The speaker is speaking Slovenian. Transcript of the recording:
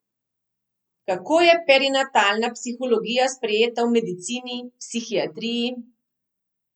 Kako je perinatalna psihologija sprejeta v medicini, psihiatriji?